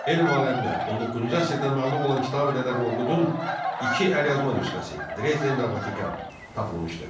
Elm aləminə 19-cu əsrdə məlum olan Kitabi Dədə Qorqudun iki əlyazma nüsxəsi, Drezden və Vatikan tapılmışdır.